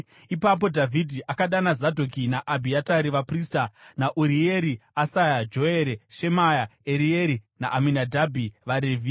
Ipapo Dhavhidhi akadana Zadhoki naAbhiatari vaprista, naUrieri, Asaya, Joere, Shemaya, Erieri naAminadhabhi vaRevhi.